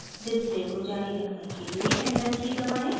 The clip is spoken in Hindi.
डिस्प्ले को जारी रखने के लिए एंटर की key दबाएं